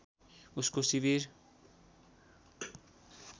उसको शिविर